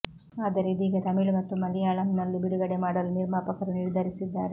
ಆದರೆ ಇದೀಗ ತಮಿಳು ಮತ್ತು ಮಲಯಾಂನಲ್ಲೂ ಬಿಡುಗಡೆ ಮಾಡಲು ನಿರ್ಮಾಪಕರು ನಿರ್ಧರಿಸಿದ್ದಾರೆ